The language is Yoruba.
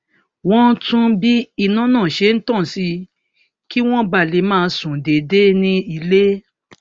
wón tún bí iná náà ṣe tàn sí kí wọn ba lè máa sùn déédéé ní ilé